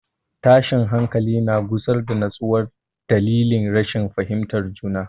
Tashin hankali na gusar da nutsuwa dalilin rashin fahimtar juna.